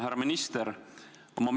Härra minister!